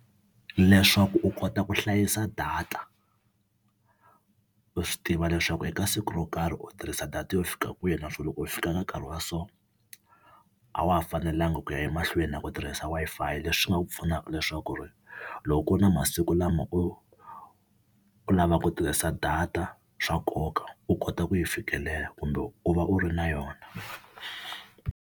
Leswaku u kota ku hlayisa data u swi tiva leswaku eka siku ro karhi u tirhisa data yo fika kwihi naswona loko yi fika ka nkarhi wa so a wa ha fanelanga ku ya emahlweni na ku tirhisa Wi-Fi, leswi nga ku pfunaka leswaku ri loko ku ri na masiku lama u u lavaku tirhisa data swa nkoka u kota ku yi fikelela kumbe u va u ri na yona.